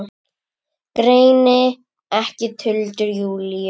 Greini ekki tuldur Júlíu.